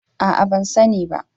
A'a ban sani ba